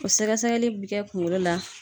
O sɛgɛsɛgɛli bi kɛ kunkolo la